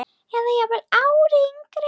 Eða jafnvel ári yngri.